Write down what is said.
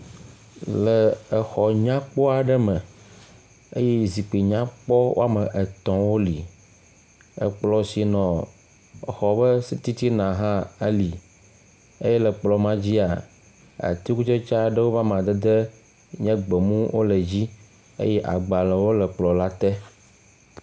Le xɔ nyakpɔ aɖe me eye zikpui nyakpɔ wɔme etɔ woli. Ekplɔ̃ si nɔ exɔ ƒe titina hã eli eye le kplɔ̃ ma dzia, atikutsetse aɖewo ƒe amadede nye gbemu wole edzi eye agbalẽ wole kplɔ̃ la te.